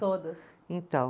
Todas. Então